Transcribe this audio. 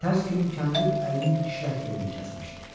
Tərs kimi kəndir əlinin işlək yerini kəsmişdi.